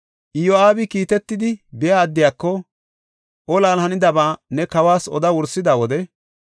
Iyo7aabi kiitetidi biya addiyako, “Olan hanidaba ne kawas oda wursida wode,